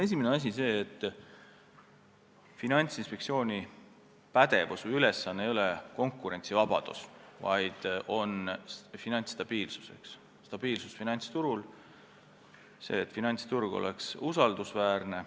Esimene asi on see, et Finantsinspektsiooni eesmärk ei ole konkurentsivabadus, vaid stabiilsus finantsturul, see, et finantsturg oleks usaldusväärne.